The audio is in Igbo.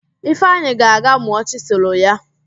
Ifeanyị ga-aga mụọ chịsịlụ ya